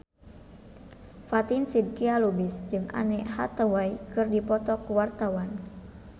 Fatin Shidqia Lubis jeung Anne Hathaway keur dipoto ku wartawan